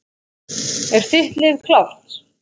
Er þitt lið klárt?